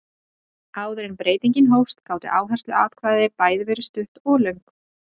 Áður en breytingin hófst gátu áhersluatkvæði bæði verið stutt og löng.